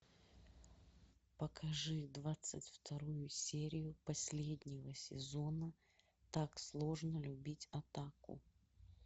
покажи двадцать вторую серию последнего сезона так сложно любить отаку